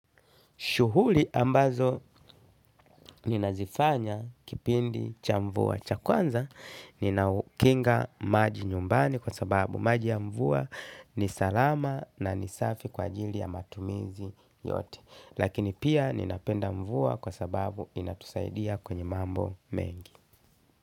Shuhuli ambazo ninazifanya kipindi cha mvua. Cha kwanza ninaukinga maji nyumbani kwa sababu maji ya mvua ni salama na ni safi kwa ajiri ya matumizi yote. Lakini pia ninapenda mvua kwa sababu inatusaidia kwenye mambo mengi.